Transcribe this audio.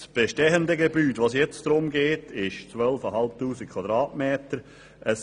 Das bestehende Gebäude, um das es jetzt geht, hat eine Nutzungsfläche von 12 500 m.